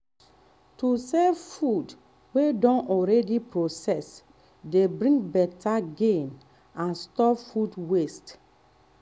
to sell food wey don already process dey bring better gain and stop food waste.